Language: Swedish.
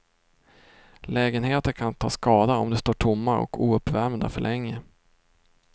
Lägenheter kan ta skada om de står tomma och ouppvärmda för länge.